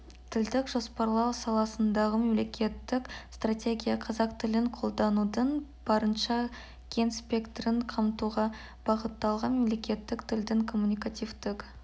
тілдік жоспарлау саласындағы мемлекеттік стратегия қазақ тілін қолданудың барынша кең спектрін қамтуға бағытталған мемлекеттік тілдің коммуникативтік